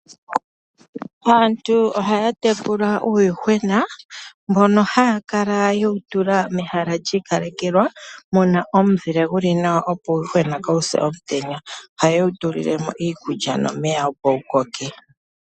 Aantu ohaya tekula uuyuhwena mbono haya kala yewu tula mehala lyiikalekelwa muna omuzile guli nawa opo uuyuhwena kaawu se omutenya. Ohaye wu tulilemo iikulya nomeya opo wukoke.